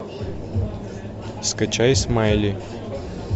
скачай смайли